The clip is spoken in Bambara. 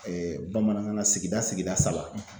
bamanankan sigida sigida saba